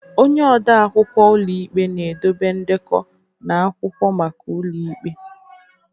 Onye odeakwụkwọ ụlọ ikpe na-edobe ndekọ na akwụkwọ maka ụlọ ikpe.